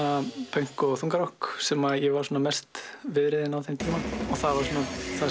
pönk og þungarokk sem ég var mest viðriðinn á þeim tíma það var það